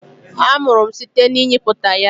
amuru m site na ịnyịputa ya.